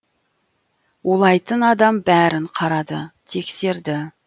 улайтын адам бәрін қарады тексерді